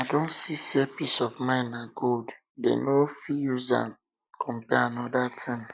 i don see say peace of mind na gold dem no fit use am compare anoda thing